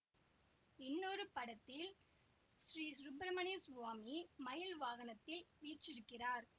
இன்னொரு படத்தில் ஸ்ரீசுப்பிரமண்ய சுவாமி மயில் வாகனத்தில் வீற்றிருக்கிறார்